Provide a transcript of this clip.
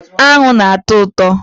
Aṅụ na-atọ ụtọ